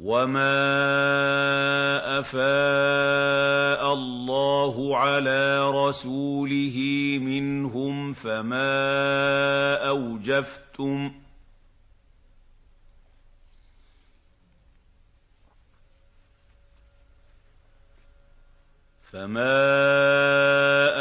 وَمَا أَفَاءَ اللَّهُ عَلَىٰ رَسُولِهِ مِنْهُمْ فَمَا